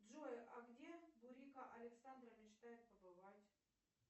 джой а где бурико александра мечтает побывать